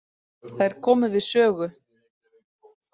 Þær komu við sögu.